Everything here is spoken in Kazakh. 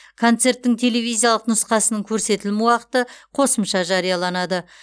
концерттің телевизиялық нұсқасының көрсетілім уақыты қосымша жарияланады